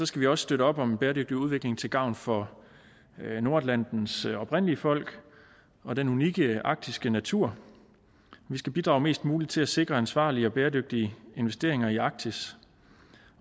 skal vi også støtte op om bæredygtig udvikling til gavn for nordatlantens oprindelige folk og den unikke arktiske natur vi skal bidrage mest muligt til at sikre ansvarlige og bæredygtige investeringer i arktis